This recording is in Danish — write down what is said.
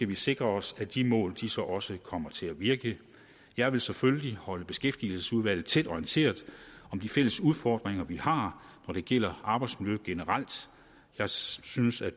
vi sikre os at de mål så også kommer til at virke jeg vil selvfølgelig holde beskæftigelsesudvalget orienteret om de fælles udfordringer vi har når det gælder arbejdsmiljø generelt jeg synes at